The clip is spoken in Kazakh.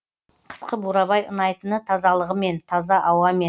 қысқы бурабай ұнайтыны тазалығымен таза ауамен